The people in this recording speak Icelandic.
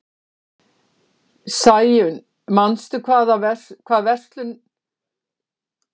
Sæunn, manstu hvað verslunin hét sem við fórum í á laugardaginn?